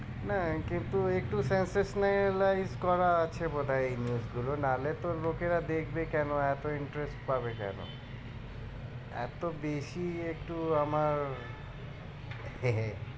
না একে তো একটু life করা আছে বোধ হয় এই news গুলো না হলে এত লোকেরা দেখবে কেন? এতো interest পাবে কেন? এত বেশি একটু আমার